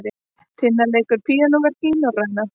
Tinna leikur píanóverk í Norræna